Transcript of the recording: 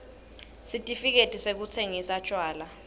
sitifiketi sekutsingisa tjwala